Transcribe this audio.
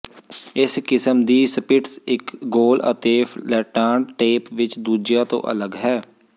ਇਸ ਕਿਸਮ ਦੀ ਸਪਿਟਜ਼ ਇਕ ਗੋਲ ਅਤੇ ਫਲੈਟਾਂਡ ਤੇਪ ਵਿਚ ਦੂਜਿਆਂ ਤੋਂ ਅਲੱਗ ਹੈ